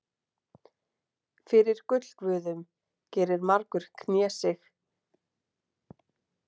Fyrir gullguðum gerir margur knésig.